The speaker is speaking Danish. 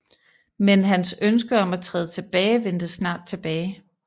Men hans ønske om at træde tilbage vendte snart tilbage